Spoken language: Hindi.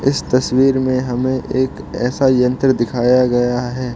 इस तस्वीर में हमें एक ऐसा यंत्र दिखाया गया है।